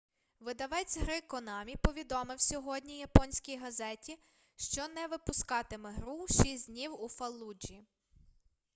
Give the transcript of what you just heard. видавець гри конамі повідомив сьогодні японській газеті що не випускатиме гру шість днів у фаллуджі